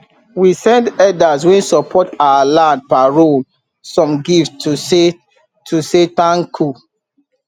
we send elders wen support our land parole some gifts to say to say tanku